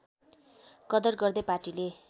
कदर गर्दै पार्टीले